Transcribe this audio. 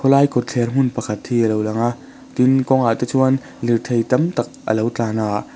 khaw lai kawtther hmun pakhat hi alo lang a tin kawngah te chuan lirthei tam tak alo tlan a.